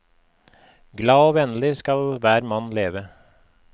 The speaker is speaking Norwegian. Glad og vennlig skal hver mann leve.